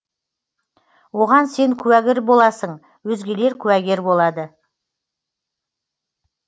оған сен куәгер боласың өзгелер куәгер болады